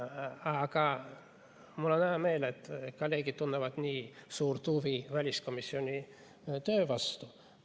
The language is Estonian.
Aga mul on hea meel, et kolleegid tunnevad nii suurt huvi väliskomisjoni töö vastu.